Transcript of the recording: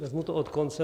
Vezmu to od konce.